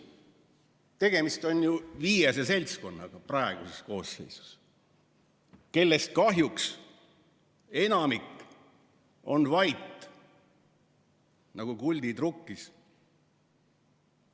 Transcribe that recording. Tegemist on ju viiese seltskonnaga praeguses koosseisus, kellest kahjuks enamik on vait nagu kuldid rukkis.